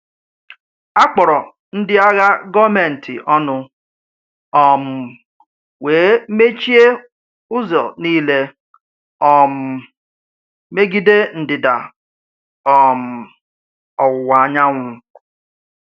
A kpọrọ ndị agha gọọmentị ọnụ, um wee mechie ụzọ niile um megide ndịda um ọwụwa anyanwụ.